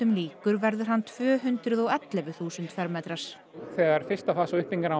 líkur verður hann tvö hundruð og ellefu þúsund fermetrar þegar fyrsta fasa